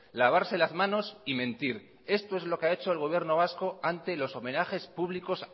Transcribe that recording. lavarse las manos y mentir esto es lo que ha hecho el gobierno vasco ante los homenajes públicos